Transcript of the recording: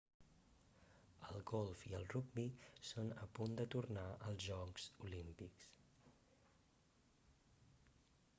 el golf i el rugbi són a punt de tornar als jocs olímpics